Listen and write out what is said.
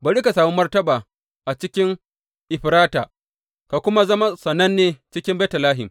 Bari ka sami martaba a cikin Efrata ka kuma zama sananne cikin Betlehem.